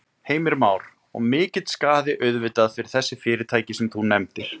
Heimir Már: Og mikill skaði auðvitað fyrir þessi fyrirtæki sem þú nefndir?